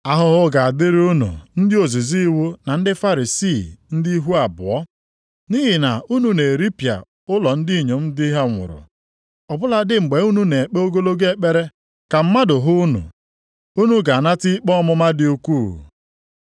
“Ahụhụ ga-adịrị unu ndị ozizi iwu na ndị Farisii, ndị ihu abụọ! Nʼihi na unu na-eripịa ụlọ ndị inyom di ha nwụrụ, ọ bụladị mgbe unu na-ekpe ogologo ekpere ka mmadụ hụ unu. Unu ga-anata ikpe ọmụma dị ukwuu. + 23:14 Ụfọdụ akwụkwọ mgbe ochie na-edebanye okwu ndị a dịka ọ dị nʼakwụkwọ \+xt Mak 12:40\+xt* na \+xt Luk 20:47\+xt*.